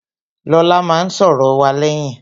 Lọlá máa n sòrò wa léyìn